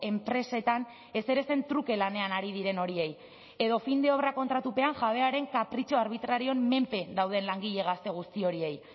enpresetan ezerezen truke lanean ari diren horiei edo fin de obra kontratupean jabearen kapritxoa arbitrarioen menpe dauden langile gazte guzti horiei